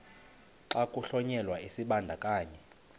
xa kuhlonyelwa isibandakanyi